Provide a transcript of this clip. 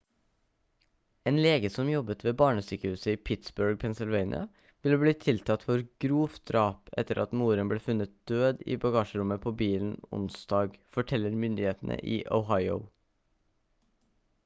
en lege som jobbet ved barnesykehuset i pittsburgh pennsylvania vil bli tiltalt for grovt drap etter at moren ble funnet død i bagasjerommet på bilen onsdag forteller myndighetene i ohio